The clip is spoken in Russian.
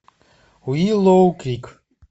уиллоу крик